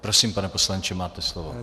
Prosím, pane poslanče, máte slovo.